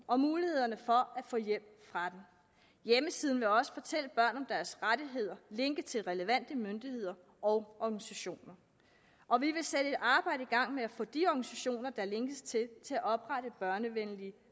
om mulighederne for at få hjælp fra den hjemmesiden vil også fortælle børn om deres rettigheder linke til relevante myndigheder og organisationer og vi vil sætte et arbejde i gang med at få de organisationer der linkes til til at oprette børnevenlige